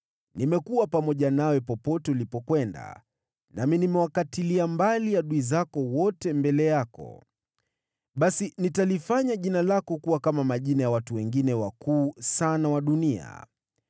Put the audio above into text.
Nimekuwa pamoja nawe popote ulipokwenda, nami nimekuondolea mbali adui zako wote mbele yako. Basi nitalifanya jina lako kuwa kuu kama majina ya watu walio wakuu sana duniani.